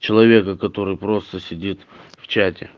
человека который просто сидит в чате